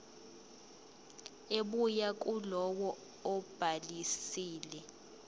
ebuya kulowo obhalisile